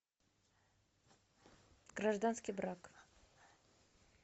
гражданский брак